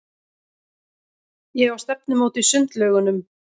Ég á stefnumót í sundlaugunum.